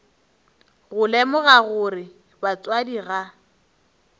go lemoga gore batswadi ga